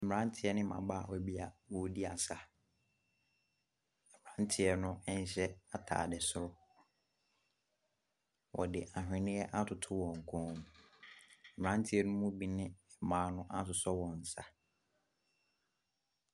Mmerateɛ ne mmabaawa bi a wɔredi asa, mmeranteɛ no nhyɛ ataade soro, wɔde aweneɛ atoto wɔn kɔn mu. Mmeranteɛ ne mu bi ne mmaa no asosɔ wɔn nsa.